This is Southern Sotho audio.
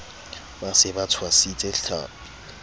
ba se ba tshwasitse tlhapi